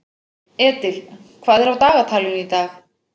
Edil, hvað er á dagatalinu í dag?